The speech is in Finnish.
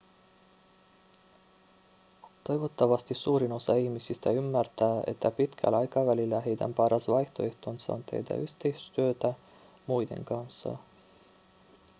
toivottavasti suurin osa ihmisistä ymmärtää että pitkällä aikavälillä heidän paras vaihtoehtonsa on tehdä yhteistyötä muiden kanssa